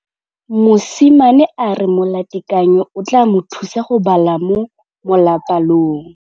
Mosimane a re molatekanyô o tla mo thusa go bala mo molapalong.